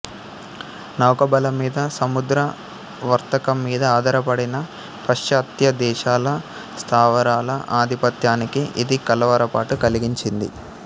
నౌకాబలంమీద సముద్ర వర్తకంమీద ఆధారపడిన పాశ్చాత్యదేశాల స్థావరాల అధిపత్యానికి ఇది కలవరపాటు కలిగించింది